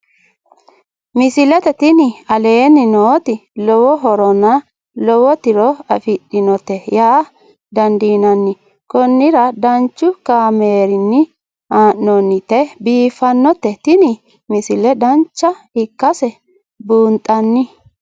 misile tini aleenni nooti lowo horonna lowo tiro afidhinote yaa dandiinanni konnira danchu kaameerinni haa'noonnite biiffannote tini misile dancha ikkase buunxanni